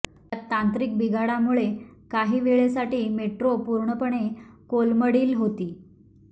या तांत्रिक बिघाडामुळे काही वेळेसाठी मेट्रो पुर्णपणे कोलमडील होती